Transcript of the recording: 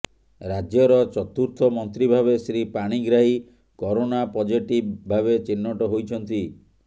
ରାଜ୍ୟର ଚତୁର୍ଥ ମନ୍ତ୍ରୀ ଭାବେ ଶ୍ରୀ ପାଣିଗ୍ରାହୀ କରୋନା ପଜେଟିଭ୍ ଭାବେ ଚିହ୍ନଟ ହୋଇଛନ୍ତି